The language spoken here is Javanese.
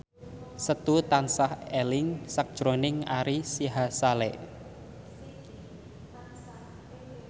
Setu tansah eling sakjroning Ari Sihasale